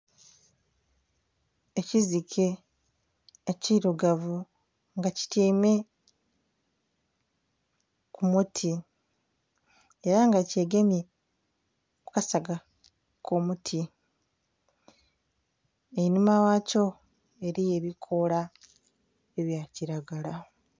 Ekiziike ekirugavu nga kityaime ku muti era nga kye gemye ku kasaga akomuti, einhuma ghakyo eriyo ebikoola ebya kilagala.